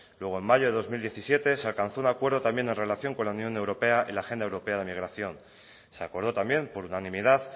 luego en mayo de dos mil diecisiete se alcanzó un acuerdo también en relación con la unión europea en la agenda europea de migración se acordó también por unanimidad